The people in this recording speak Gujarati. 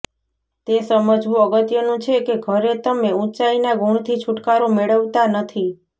તે સમજવું અગત્યનું છે કે ઘરે તમે ઉંચાઇના ગુણથી છુટકારો મેળવતા નથી